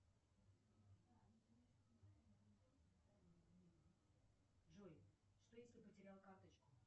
джой что если потерял карточку